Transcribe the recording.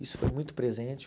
Isso foi muito presente.